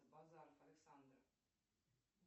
базаров александр